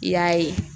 I y'a ye